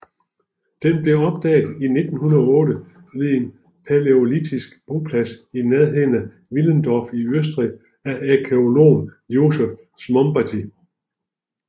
Den blev opdaget i 1908 ved en palæolitisk boplads i nærheden af Willendorf i Østrig af arkæologen Josef Szombathy